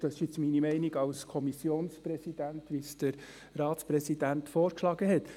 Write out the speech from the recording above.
Dies ist meine Meinung als Kommissionspräsident, so wie es der Ratspräsident vorgeschlagen hat.